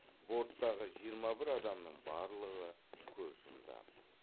борттағы жиырма бір адамның барлығы көз жұмды